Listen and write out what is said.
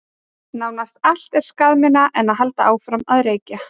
Nánast allt er skaðminna en að halda áfram að reykja.